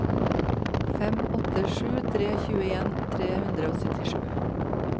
fem åtte sju tre tjueen tre hundre og syttisju